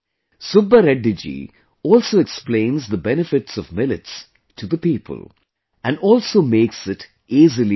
Subba Reddy ji also explains the benefits of millets to the people and also makes it easily available